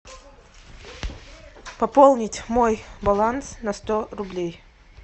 пополнить мой баланс на сто рублей